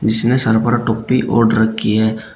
जिसने सर पर टोपी ओढ़ रखी है।